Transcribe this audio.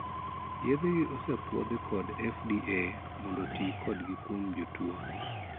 Yedhegi osepuodhi kod 'FDA' mondo tii kodgi kuom jotuo.